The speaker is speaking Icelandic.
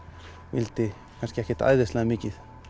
vildi kannski ekkert æðislega mikið